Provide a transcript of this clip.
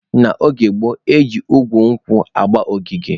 N'oge gboo, eji igu nkwụ agba ogige.